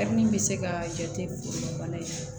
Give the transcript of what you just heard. min bɛ se ka jate bana in na